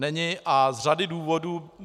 Není, a z řady důvodů.